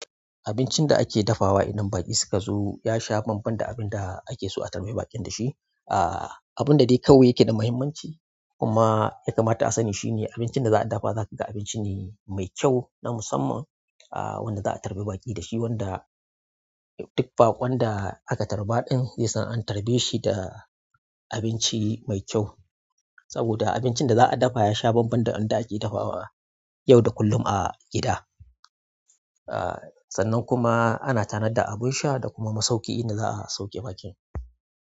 Abincin da ake dafawa idan baƙi suka zo ya sha bambam da abin da ake so a tarbi baƙin da shi. Aa, abin da dai kawai yake da muhimmanci kuma itama ta sani shine abincin da zaa dafa zakaga abinci neh mai kyau na musamman aa wanda za a tarbi baƙi da shi, wanda duk baƙon da aka tarba ɗin zai san an tarbe shi da abinci mai kyau. Saboda abincin da za a dafa ya sha bambam da wanda ake dafawa yau da kullum a gida. Aa sannan kuma ana tanada abin sha da kuma masauki inda za a sauke baƙin.